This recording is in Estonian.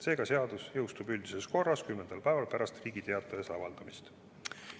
Seega jõustub seadus üldises korras, kümnendal päeval pärast Riigi Teatajas avaldamist.